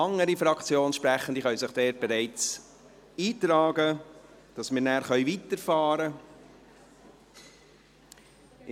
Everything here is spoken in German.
Andere Fraktionssprechende können sich bereits eintragen, sodass wir nachher fortfahren können.